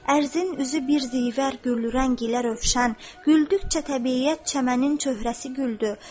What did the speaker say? Ərzin üzü bir zivər güllü rəngilə Rövşən, güldükcə təbiəti çəmənin çöhrəsi güldü.